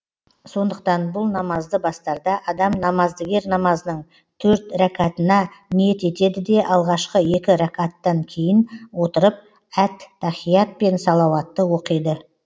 сондықтан бұл намазды бастарда адам намаздыгер намазының төрт рәкатына ниет етеді де алғашқы екі рәкаттан кейін отырып әт тахият пен салауатты оқиды